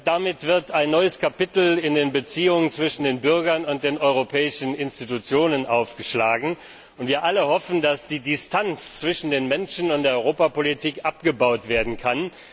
Damit wird ein neues Kapitel in den Beziehungen zwischen den Bürgern und den europäischen Institutionen aufgeschlagen. Wir alle hoffen, dass die Distanz zwischen den Menschen und der Europapolitik abgebaut werden kann.